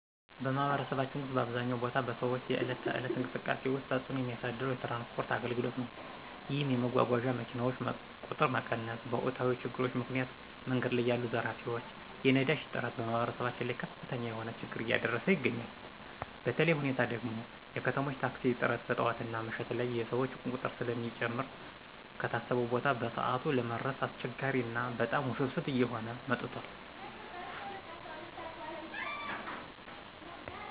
በማህበረሰባችን ውስጥ በአብዛኛው ቦታ በሰዎች የዕለት ተዕለት እንቅስቃሴ ውስጥ ተፅዕኖ የሚያሳድረው የትራንስፖርት አገልግሎት ነዉ። ይህም የመጓጓዣ መኪናዎች ቁጥር መቀነስ፣ በወቅታዊ ችግሮች ምክንያት መንገድ ላይ ያሉ ዘራፊዎች፣ የነዳጅ እጥረት በማህበረሰባችን ላይ ከፍተኛ የሆነ ችግር እያደረሰ ይገኛል። በተለየ ሁኔታ ደግሞ የከተሞች ታክሲ እጥረት ጠዋትና ምሽት ላይ የሰዎች ቁጥር ስለሚጨምር ከታሰበው ቦታ በሰዓት ለመድረስ አስቸጋሪ ና በጣም ውስብስብ እየሆነ መጥቷል።